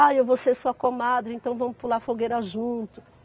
Ah, eu vou ser sua comadre, então vamos pular fogueira junto.